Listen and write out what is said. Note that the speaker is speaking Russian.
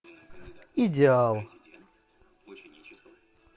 идеал